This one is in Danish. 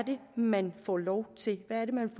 man får lov til hvad er det man